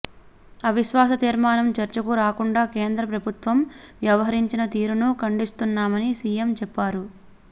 అవిశ్వాస తీర్మానం చర్చకు రాకుండా కేంద్ర ప్రభుత్వం వ్యహరించిన తీరును ఖండిస్తున్నామని సీఎం చెప్పారు